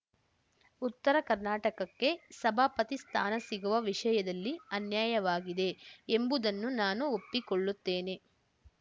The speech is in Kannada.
ಉತ್ತರ ಕರ್ನಾಟಕಕ್ಕೆ ಸಭಾಪತಿ ಸ್ಥಾನ ಸಿಗುವ ವಿಷಯದಲ್ಲಿ ಅನ್ಯಾಯವಾಗಿದೆ ಎಂಬುದನ್ನು ನಾನು ಒಪ್ಪಿಕೊಳ್ಳುತ್ತೇನೆ